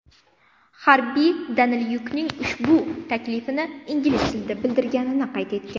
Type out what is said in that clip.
Harbiy Danilyukning ushbu taklifni ingliz tilida bildirganini qayd etgan.